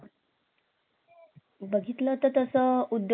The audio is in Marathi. बघितलं तर तसं उद्योगांमध्ये पण येतात कृषी